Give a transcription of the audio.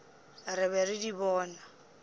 re be re di bona